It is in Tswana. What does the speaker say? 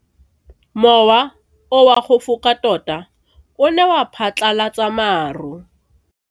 Mowa o wa go foka tota o ne wa phatlalatsa maru.